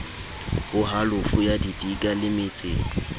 ho halofo ya didika lemetseng